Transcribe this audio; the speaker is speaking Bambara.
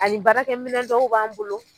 Ani baarakɛ minɛn dɔw b'an bolo.